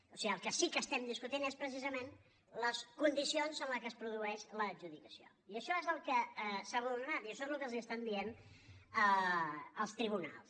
o sigui el que sí que estem discutint és precisament les condicions en què es produeix l’adjudicació i això és el que s’ha vulnerat i això és el que els estan dient els tribunals